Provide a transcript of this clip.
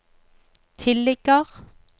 tilligger